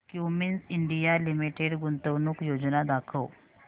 Cummins India limited गुंतवणूक योजना दाखव